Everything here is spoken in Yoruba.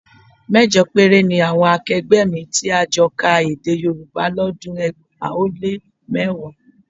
Mẹ́jọ péré ni àwọn akẹgbẹ́ mi tí a jọ ka Èdè Yorùbá lọ́dún ẹgbàá ó lé mẹ́wàá